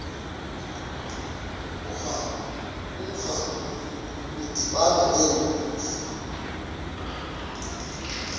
urantu udibana nenkunzi